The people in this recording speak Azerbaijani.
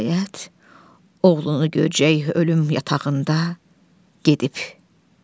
Nəhayət oğlunu görəcək ölüm yatağında gedib.